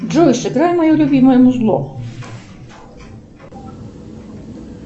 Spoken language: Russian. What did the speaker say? джой сыграй мое любимое музло